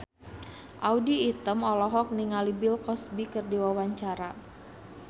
Audy Item olohok ningali Bill Cosby keur diwawancara